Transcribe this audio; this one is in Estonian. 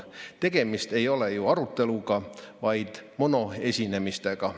Tegemist ei ole ju aruteluga, vaid monoesinemisega.